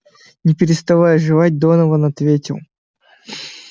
не переставая жевать донован ответил